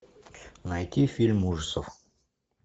найти фильм ужасов